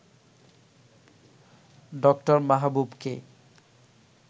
ড. মাহবুবকে